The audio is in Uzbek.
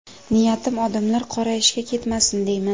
Niyatim odamlar qora ishga ketmasin deyman.